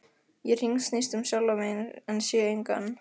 Ég hringsnýst um sjálfa mig en sé engan.